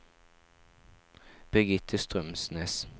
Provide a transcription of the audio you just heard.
Birgitte Strømsnes